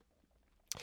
DR K